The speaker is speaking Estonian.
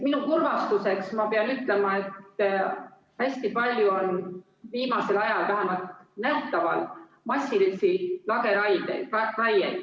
Oma kurvastuseks ma pean ütlema, et hästi palju on viimasel ajal vähemalt nähtavalt massilisi lageraieid.